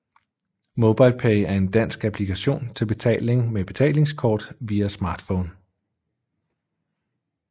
MobilePay er en dansk applikation til betaling med betalingskort via smartphone